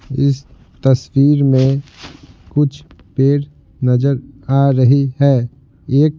इस तस्वीर में कुछ पेड़ नजर आ रही है एक--